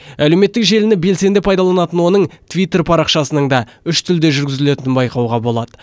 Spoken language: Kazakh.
әлеуметтік желіні белсенді пайдаланатын оның твиттер парақшасының да үш тілде жүргізілетінін байқауға болады